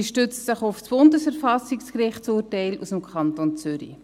Sie stützt sich auf das Bundesverfassungsgerichtsurteil aus dem Kanton Zürich.